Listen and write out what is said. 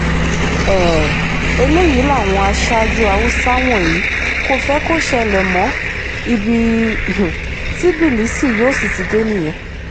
um eléyìí làwọn aṣáájú haúsá wọ̀nyí kò fẹ́ kó ṣẹlẹ̀ mọ́ ibi um tí bílíìsì yóò sì ti dé nìyẹn